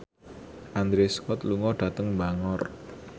Andrew Scott lunga dhateng Bangor